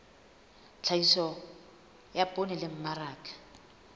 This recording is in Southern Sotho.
tlhahiso ya poone le mmaraka